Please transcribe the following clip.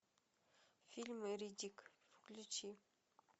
фильм риддик включи